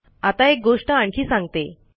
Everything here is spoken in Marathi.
आता एक गोष्ट आणखी सांगतो